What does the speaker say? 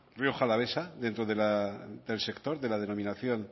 rioja alavesa dentro de la del sector de la denominación